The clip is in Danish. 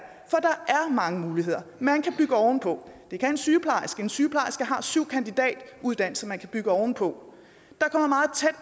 mange muligheder man kan bygge ovenpå det kan en sygeplejerske gøre en sygeplejerske har syv kandidatuddannelser som man kan bygge oven på